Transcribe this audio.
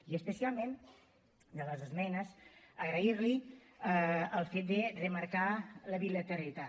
i especialment de les esmenes agrair li el fet de remarcar la bilateralitat